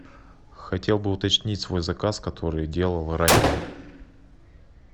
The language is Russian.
хотел бы уточнить свой заказ который делал ранее